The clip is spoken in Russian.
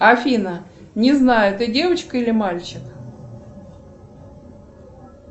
афина не знаю ты девочка или мальчик